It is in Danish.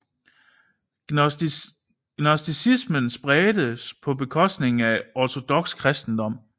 Gnosticismen spredtes på bekostning af ortodoks kristendom